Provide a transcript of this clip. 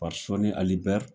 Sɔni Ali Bɛri